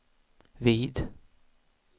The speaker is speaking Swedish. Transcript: vid